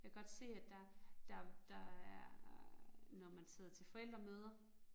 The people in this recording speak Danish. Jeg kan godt se, at der der der er øh når man sidder til forældremøder